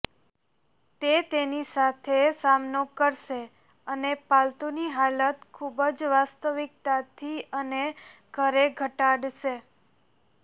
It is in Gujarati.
તે તેની સાથે સામનો કરશે અને પાલતુની હાલત ખૂબ જ વાસ્તવિકતાથી અને ઘરે ઘટાડશે